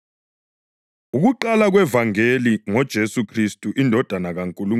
Ukuqala kwevangeli ngoJesu Khristu, indodana kaNkulunkulu.